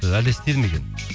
әлде істеді ме екен